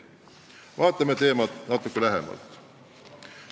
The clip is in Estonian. Vaatame teemat natuke lähemalt.